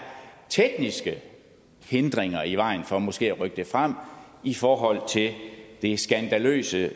tekniske hindringer i vejen for måske at rykke det frem i forhold til det skandaløse